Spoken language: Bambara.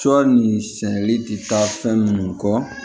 Sɔ ni sɛnɛli ti taa fɛn munnu kɔ